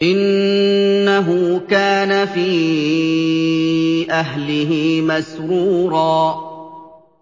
إِنَّهُ كَانَ فِي أَهْلِهِ مَسْرُورًا